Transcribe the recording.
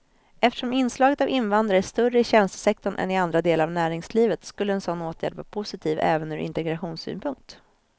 Eftersom inslaget av invandrare är större i tjänstesektorn än i andra delar av näringslivet skulle en sådan åtgärd vara positiv även ur integrationssynpunkt.